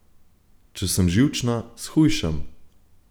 Če sem živčna, shujšam.